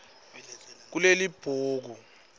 kulelibhuku